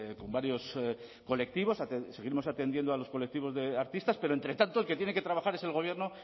con varios colectivos seguiremos atendiendo a los colectivos de artistas pero entre tanto el que tiene que trabajar es el gobierno